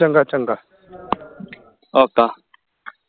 ਚੰਗਾ ਚੰਗਾ ਰੱਖਦਾ